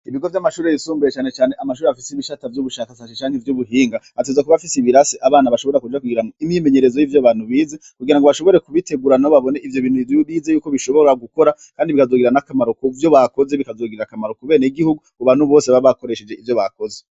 Ibigo vy'amashure yisumbuye canecane amashure afise ibisata vy'ubushakashatsi bijanye n'ubuhinga, ategerezwa kuba afise ibirasi abana bashobora kuja kugira imyimenyerezo yivyo abantu bize, kugirango bashobore kubitegura nabo babone ivyo bintu bize yuko bishobora gukora Kandi bifise akamaro ku benegihugu kubantu bose baba bakoresheje ivyo bakoze.